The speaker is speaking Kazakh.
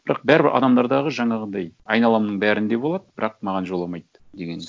бірақ бәрібір адамдардағы жаңағындай айналамның бәрінде болады бірақ маған жоламайды деген